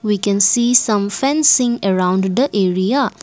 we can see some fencing around the area.